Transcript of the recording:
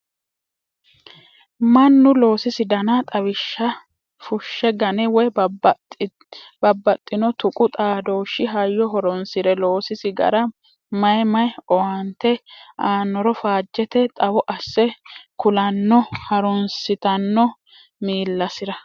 Mannu loosisi dana xawishsha fushe gane woyi babbaxxino tuqu xaadooshi hayyo horonsire loosisi gara mayi mayi owaante aanoro faajete xawo asse ku'lanno harunsittano miillasira.